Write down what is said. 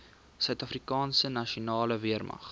suidafrikaanse nasionale weermag